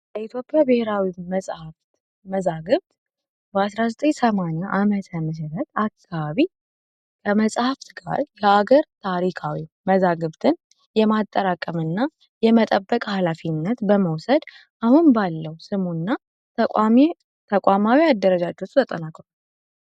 የኢትዮጵያ ብሔራዊ መጽሐፍ መዛግብት 1980 ዓ.ም አካባቢ በመጻፍት ቃል ለአገር ታሪካዊ መዛግብትን የማጠራቀምና የመጠበቅ ሃላፊነት በመውሰድ አሁን ባለው ስሙና ተቃዋሚ ተቋማዊ አደረጃጀት ተጠናቋል።